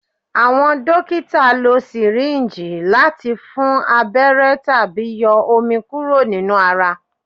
Awọn dokita lo syringe lati fun abẹrẹ tabi yọ omi kuro ninu ara